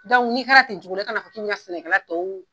n'i kɛra ten cogo la i kana fɔ k'i bɛ sɛnɛkɛlatɔw.